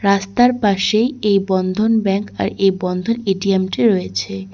রাস্তার পাশেই এই বন্ধন ব্যাংক আর এই বন্ধন এ_টি_এম -টি রয়েছে।